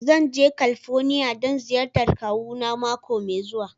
Zan je California don ziyartar kawuna mako mai zuwa.